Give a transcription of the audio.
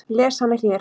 Lesa hana hér.